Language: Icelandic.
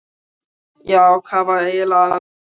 Já, hvað var eiginlega að mér?